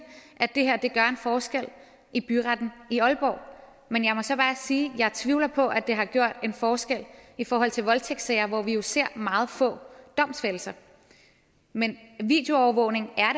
at det her gør en forskel i byretten i aalborg men jeg må så bare sige at jeg tvivler på at det har gjort en forskel i forhold til voldtægtssager hvor vi jo ser meget få domsfældelser men videoovervågning er